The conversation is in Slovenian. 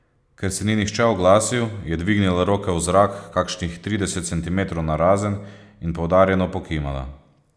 Ker se ni nihče oglasil, je dvignila roke v zrak kakšnih trideset centimetrov narazen in poudarjeno pokimala.